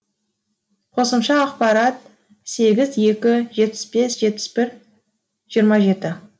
қосымша ақпарат сегіз екі жетпіс бес жетпіс бір жиырма жеті